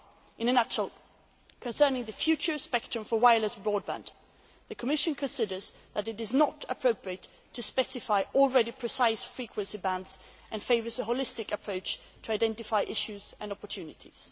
12. In a nutshell, concerning the future spectrum for wireless and broadband, the Commission considers that it is not appropriate to specify already precise frequency bands and favours a holistic approach to identify issues and opportunities.